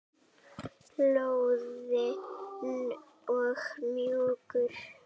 Loðinn og mjúkur.